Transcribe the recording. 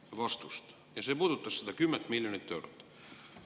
puudutas seda 10 miljonit eurot.